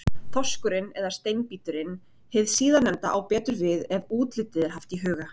Þorskurinn eða Steinbíturinn, hið síðarnefnda á betur við ef útlitið er haft í huga.